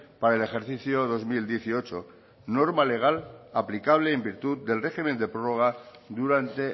para el ejercicio dos mil dieciocho norma legal aplicable en virtud del régimen de prórroga durante